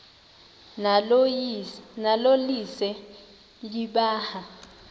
nalo lise libaha